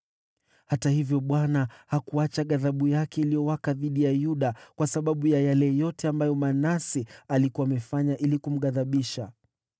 Hata hivyo, Bwana hakuacha ghadhabu yake iliyowaka dhidi ya Yuda kwa sababu ya yale yote ambayo Manase alikuwa amefanya kumghadhibisha.